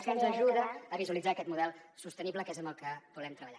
que ens ajuda a visualitzar aquest model sostenible que és amb el que volem treballar